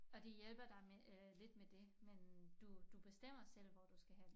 Og de hjælper dig med øh lidt med dét men du du bestemmer selv hvor du skal hen